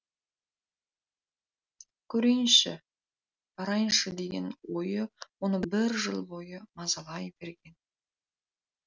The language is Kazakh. көрейінші барайыншы деген ой оны бір жыл бойы мазалай берген